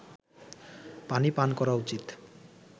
পানি পান করা উচিত